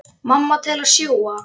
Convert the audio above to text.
Mamma til að sjúga.